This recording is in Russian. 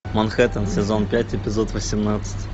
манхэттен сезон пять эпизод восемнадцать